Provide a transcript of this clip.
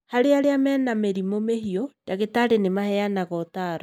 Harĩ arĩa mena mĩrimũ mĩhiu, ndagĩtarĩ nĩ maheanaga ũtaaro